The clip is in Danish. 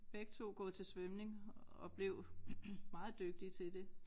Begge 2 gået til svømning og blev meget dygtige til det